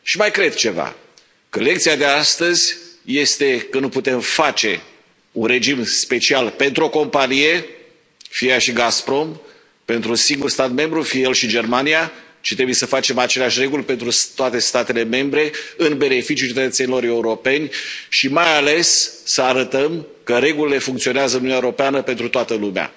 Și mai cred ceva că lecția de astăzi este că nu putem face un regim special pentru o companie, fie ea și Gazprom, pentru un singur stat membru, fie el și Germania, ci trebuie să facem aceleași reguli pentru toate statele membre în beneficiul cetățenilor europeni și mai ales să arătăm că regulile funcționează în Uniunea Europeană pentru toată lumea.